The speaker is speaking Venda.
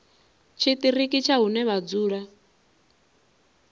tshiṱiriki tsha hune vha dzula